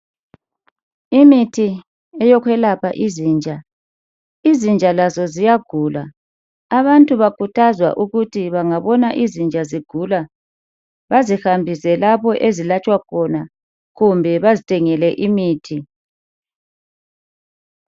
Imithi eyokwelapha izinja, izinja lazo ziyagula, Abantu bakhuthazwa ukuthi bangabona izinja zigula bazihambise lapho ezilatshwa khona kumbe bazithengele imithi.